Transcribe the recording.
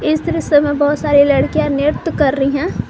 इस दृश्य में बहुत सारी लड़कियां नृत्य कर रही हैं।